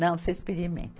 Não, você experimenta.